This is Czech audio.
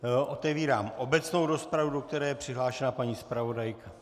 Otevírám obecnou rozpravu, do které je přihlášena paní zpravodajka.